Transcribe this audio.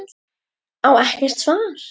Á ekkert svar.